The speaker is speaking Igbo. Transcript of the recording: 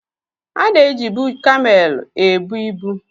Ana ejibụ kamel ebụ ịbu